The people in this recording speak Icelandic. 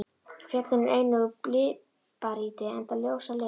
Fjöllin eru einnig úr líparíti enda ljós á lit.